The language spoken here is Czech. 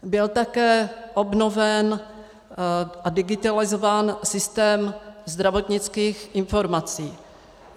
Byl také obnoven a digitalizován systém zdravotnických informací.